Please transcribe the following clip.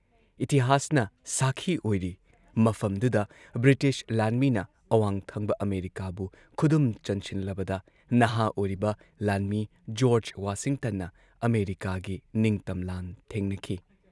ꯏꯇꯤꯍꯥꯁꯅ ꯁꯥꯈꯤ ꯑꯣꯏꯔꯤ ꯃꯐꯝꯗꯨꯗ ꯕ꯭ꯔꯤꯇꯤꯁ ꯂꯥꯟꯃꯤꯅ ꯑꯋꯥꯡꯊꯪꯕ ꯑꯃꯦꯔꯤꯀꯥꯕꯨ ꯈꯨꯗꯨꯝ ꯆꯟꯁꯤꯜꯂꯕꯗ ꯅꯍꯥ ꯑꯣꯏꯔꯤꯕ ꯂꯥꯟꯃꯤ ꯖꯣꯔꯖ ꯋꯥꯁꯤꯡꯇꯟꯅ ꯑꯃꯦꯔꯤꯀꯥꯒꯤ ꯅꯤꯡꯇꯝ ꯂꯥꯟ ꯊꯦꯡꯅꯈꯤ ꯫